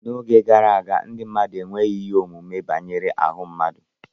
N'oge gara aga, ndị mmadụ enweghị ihe ọmụma banyere ahụ mmadụ